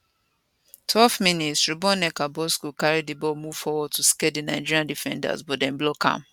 12mins ruboneka bosco carry di ball move forward to scare di nigeria defenders but dem block am